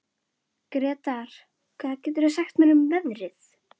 Gretar, hvað geturðu sagt mér um veðrið?